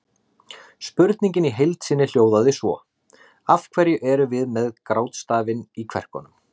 Spurningin í heild sinni hljóðaði svo: Af hverju erum við með grátstafinn í kverkunum?